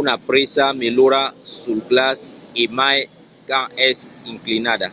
una presa melhora sul glaç e mai quand es inclinada